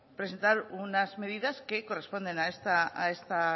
presentar unas medidas que corresponden a esta